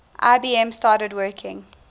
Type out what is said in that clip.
ibm started working